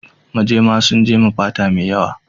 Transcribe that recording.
Majema sun jema fata mai yawa.